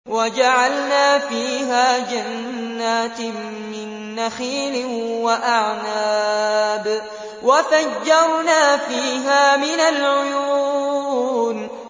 وَجَعَلْنَا فِيهَا جَنَّاتٍ مِّن نَّخِيلٍ وَأَعْنَابٍ وَفَجَّرْنَا فِيهَا مِنَ الْعُيُونِ